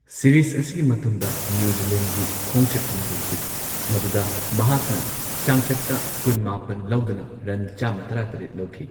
Series ꯑꯁꯤꯒꯤ ꯃꯇꯨꯡꯗ new ꯖꯤꯂꯦꯟꯗꯒꯤ ꯈꯣꯡꯆꯠ ꯑꯃ ꯂꯩꯈꯤ ꯃꯗꯨꯗ ꯃꯍꯥꯛꯅ ꯆꯥꯡꯆꯠꯇ ꯀꯨꯟ ꯃꯥꯄꯟ ꯂꯧꯗꯨꯅ ꯔꯟ ꯆꯥꯝꯃ ꯇꯔꯥ ꯇꯔꯦꯠ ꯂꯧꯈꯤ꯫